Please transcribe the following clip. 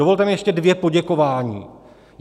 Dovolte mi ještě dvě poděkování.